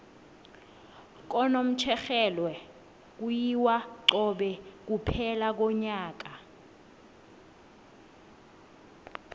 kunomtjherhelwe kuyiwa cobe kuphela konyaka